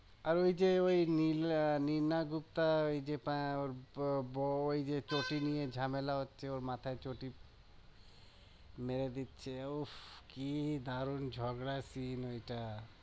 আর ওইযে ওই নীলা আহ নীনা গুপ্তা ওইযে ওই ওইযে চটি নিয়ে ঝামেলা হচ্ছে ওর মাথায় চটি মেরে দিচ্ছে উফ কি দারুন ঝগড়া কি ওইটা